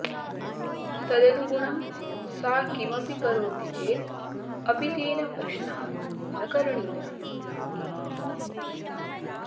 तदनुगुणं सा किमपि करोति चेत् अपि तेन प्रश्नः न करणीयः